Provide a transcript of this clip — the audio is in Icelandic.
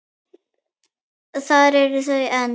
Þar eru þau enn.